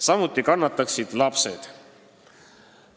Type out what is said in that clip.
Samuti kannataksid lapsed.